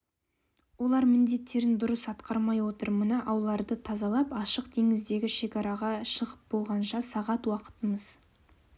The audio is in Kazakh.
олар міндеттерін дұрыс атқармай отыр мына ауларды тазалап ашық теңіздегі шекараға шығып болғанша сағат уақытымыз